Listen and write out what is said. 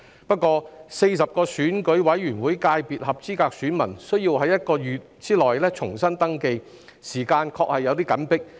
不過 ，40 個選舉委員會界別分組的合資格選民需要在1個月內重新登記，時間確實有點緊迫。